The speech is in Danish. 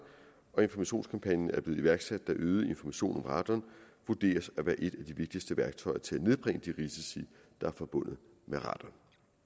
og informationskampagnen er blevet iværksat da øget information om radon vurderes at være et af de vigtigste værktøjer til at nedbringe de risici der er forbundet med radon